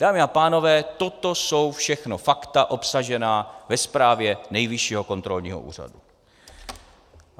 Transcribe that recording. Dámy a pánové, toto jsou všechno fakta obsažená ve zprávě Nejvyššího kontrolního úřadu.